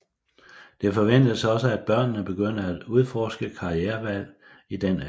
Det forventes også at børnene begynder at udforske karrierevalg i den alder